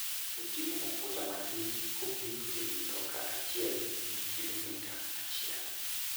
Oting'o mafuta matin kopim gi mtoka achiel gi kilomita achiel.